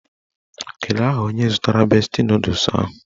Kedu aha onye zụtara besti nọdụs ahụ?